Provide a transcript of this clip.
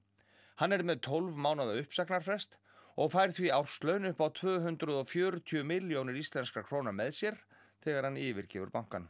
hann er með tólf mánaða uppsagnarfrest og fær því árslaun upp á tvö hundruð og fjörutíu milljónir íslenskra króna með sér þegar hann yfirgefur bankann